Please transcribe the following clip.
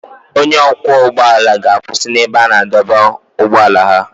Onye ọkwọ ụgbọ ala ga-akwụsị n'ebe a na-adọba ụgbọala ha.